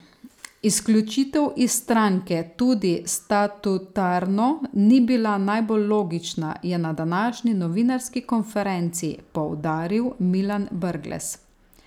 Izključitev iz stranke tudi statutarno ni bila najbolj logična, je na današnji novinarski konferenci poudaril Milan Brglez.